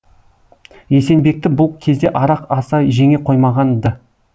есенбекті бұл кезде арақ аса жеңе қоймаған ды